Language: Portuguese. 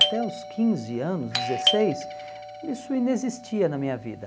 Até os quinze anos, dezesseis, isso inexistia na minha vida.